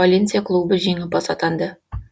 валенсия клубы жеңімпаз атанды